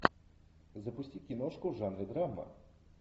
запусти киношку в жанре драма